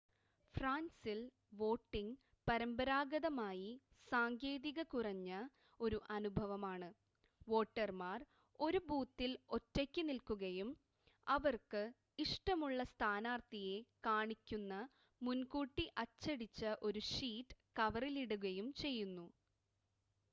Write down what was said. ഫ്രാൻസിൽ വോട്ടിംഗ് പരമ്പരാഗതമായി സാങ്കേതിക കുറഞ്ഞ ഒരു അനുഭവമാണ് വോട്ടർമാർ ഒരു ബൂത്തിൽ ഒറ്റയ്ക്ക് നിൽക്കുകയും അവർക്ക് ഇഷ്ടമുള്ള സ്ഥാനാർത്ഥിയെ കാണിക്കുന്ന മുൻകൂട്ടി അച്ചടിച്ച ഒരു ഷീറ്റ് കവറിലിടുകയും ചെയ്യുന്നു